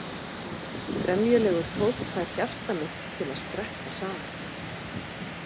Gremjulegur tónn fær hjarta mitt til að skreppa saman.